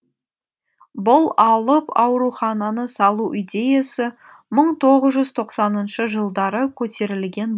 бұл алып аурухананы салу идеясы мың тоғыз жүз тоқсаныншы жылдары көтерілген